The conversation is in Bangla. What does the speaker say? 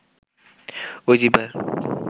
ওই জিহ্বার